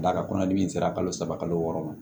Ka d'a kan kɔnɔdimi sera kalo saba kalo wɔɔrɔ ma